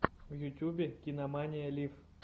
в ютубе кинамания лив